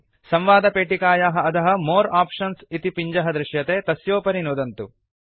संवादपेटिकायाः अधः more options इति पिञ्जः दृश्यते तस्योपरि नुदन्तु